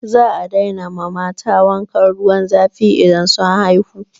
Za a daina ma mata wankan ruwan zafi idan sun haihu.